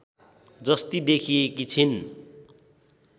जस्ती देखिएकी छिन्